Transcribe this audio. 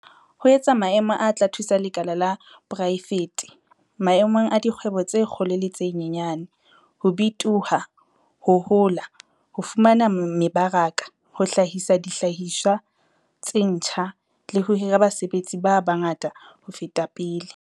"ho etsa maemo a tla thusa lekala la poraefete - maemong a dikgwebo tse kgolo le tse nyenyane - ho bitoha, ho hola, ho fumana mebaraka, ho hlahisa dihlahiswa tse ntjha, le ho hira basebetsi ba bangata ho feta pele."